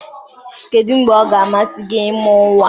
Kedu mgbe ọ ga-amasị gị ịmụ nwa?